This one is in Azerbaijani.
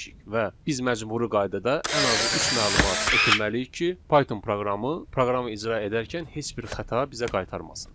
Və biz məcburi qaydada ən azı üç məlumat ötürməliyik ki, Python proqramı proqramı icra edərkən heç bir xəta bizə qaytarmasın.